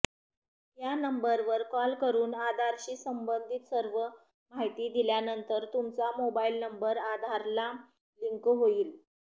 या नंबरवर कॉल करून आधारशी संबंधित सर्व माहिती दिल्यानंतर तुमचा मोबाईल नंबर आधारला लिंक होईल